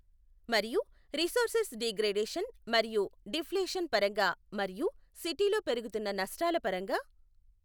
మరియు resources degradation మరియు deflation పరంగా మరియు సిటీలో పెరుగుతున్న నష్టాల పరంగా.